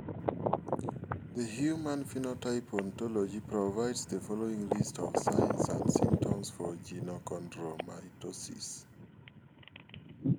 The Human Phenotype Ontology provides the following list of signs and symptoms for Genochondromatosis.